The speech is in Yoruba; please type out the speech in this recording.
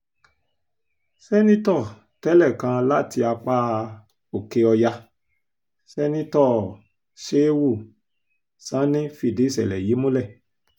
sẹ́ńtítọ́ tẹ́lẹ̀ kan láti apá òkè-ọ̀yà sẹ́ńtítọ́ shehu sanni fìdí ìṣẹ̀lẹ̀ yìí múlẹ̀